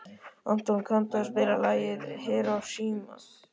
Anton, kanntu að spila lagið „Hiroshima“?